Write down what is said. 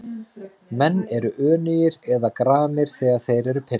Menn eru önugir eða gramir þegar þeir eru pirraðir.